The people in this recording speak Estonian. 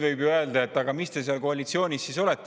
Võib ju öelda, et aga mis te seal koalitsioonis siis olete.